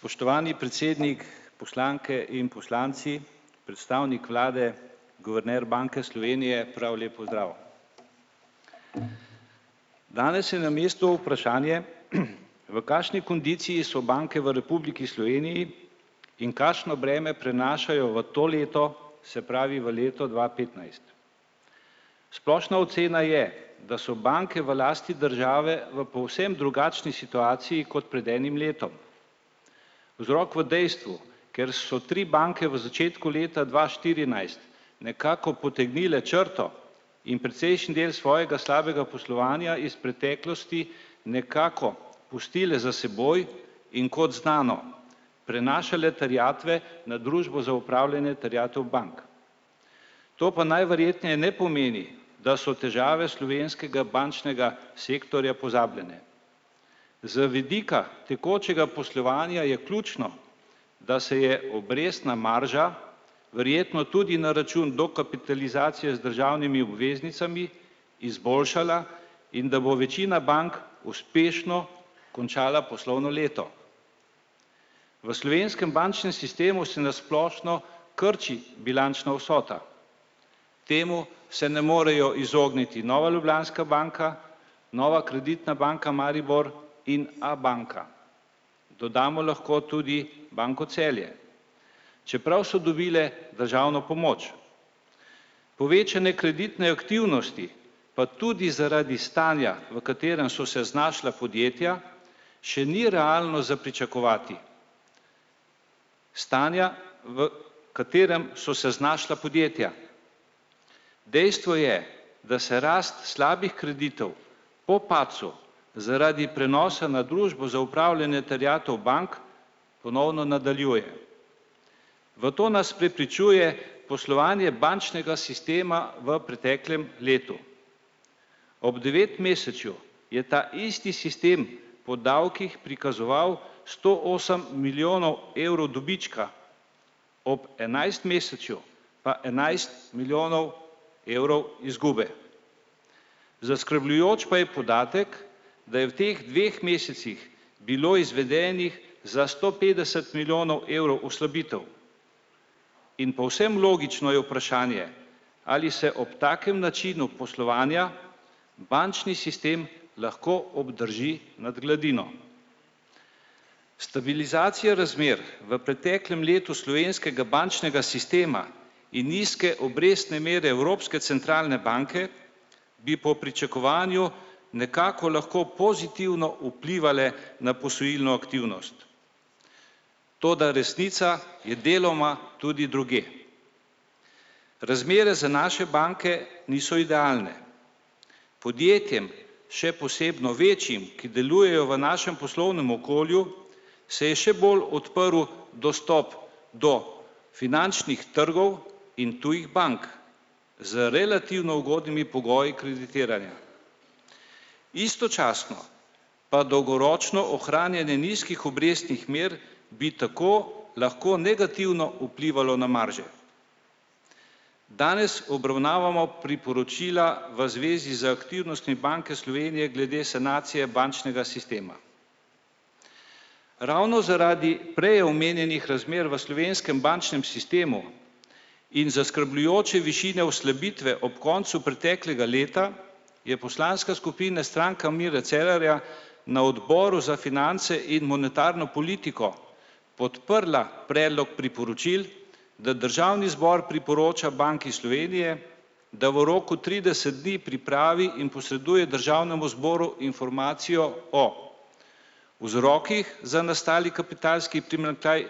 Spoštovani predsednik, poslanke in poslanci, predstavnik vlade, guverner Banke Slovenije, prav lep pozdrav! Danes je na mestu vprašanje, v kakšni kondiciji so banke v Republiki Sloveniji in kakšno breme prenašajo v to leto, se pravi v leto dva petnajst. Splošna ocena je, da so banke v lasti države v povsem drugačni situaciji kot pred enim letom. Vzrok v dejstvu, ker so tri banke v začetku leta dva štirinajst nekako potegnile črto in precejšen del svojega slabega poslovanja iz preteklosti nekako pustile za seboj, in kot znano, prenašale terjatve na Družbo za opravljanje terjatev bank. To pa najverjetneje ne pomeni, da so težave slovenskega bančnega sektorja pozabljene. Z vidika tekočega poslovanja je ključno, da se je obrestna marža verjetno tudi na račun dokapitalizacije z državnimi obveznicami izboljšala in da bo večina bank uspešno končala poslovno leto. V slovenskem bančnem sistemu se na splošno krči bilančna vsota. Temu se ne morejo izogniti Nova Ljubljanska banka, Nova kreditna banka Maribor in Abanka. Dodamo lahko tudi Banko Celje. Čeprav so dobile državno pomoč. Povečane kreditne aktivnosti pa tudi zaradi stanja, v katerem so se znašla podjetja, še ni realno za pričakovati. Stanja, v katerem so se znašla podjetja. Dejstvo je, da se rast slabih kreditov po padcu zaradi prenosa na Družbo za upravljanje terjatev bank ponovno nadaljuje. V to nas prepričuje poslovanje bančnega sistema v preteklem letu. Ob devetmesečju je ta isti sistem po davkih prikazoval sto osem milijonov evrov dobička. Ob enajstmesečju pa enajst milijonov evrov izgube. Zaskrbljujoč pa je podatek, da je v teh dveh mesecih bilo izvedenih za sto petdeset milijonov evrov oslabitev. In povsem logično je vprašanje, ali se ob takem načinu poslovanja bančni sistem lahko obdrži nad gladino. Stabilizacija razmer v preteklem letu slovenskega bančnega sistema in nizke obrestne mere Evropske centralne banke bi po pričakovanju nekako lahko pozitivno vplivale na posojilno aktivnost. Toda resnica je deloma tudi drugje. Razmere za naše banke niso idealne. Podjetjem, še posebno večjim, ki delujejo v našem poslovnem okolju se je še bolj odprl dostop do finančnih trgov in tujih bank z relativno ugodnimi pogoji kreditiranja. Istočasno pa dolgoročno ohranjanje nizkih obrestnih mer bi tako lahko negativno vplivalo na marže. Danes obravnavamo priporočila v zvezi z aktivnostmi Banke Slovenije glede sanacije bančnega sistema. Ravno zaradi prej omenjenih razmer v slovenskem bančnem sistemu in zaskrbljujoče višine oslabitve ob koncu preteklega leta je poslanska skupina Stranka Mira Cerarja na odboru za finance in monetarno politiko podprla predlog priporočil, da državni zbor priporoča Banki Slovenije, da v roku trideset dni pripravi in posreduje državnemu zboru informacijo o vzrokih za nastali kapitalski primanjkljaj